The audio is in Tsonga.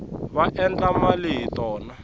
va endla mali hi tona